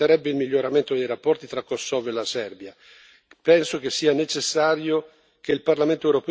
Un cambio di rotta potrebbe essere utile e permetterebbe il miglioramento dei rapporti tra il Kosovo e la Serbia.